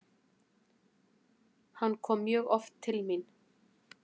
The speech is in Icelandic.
Hann kom mjög oft til mín.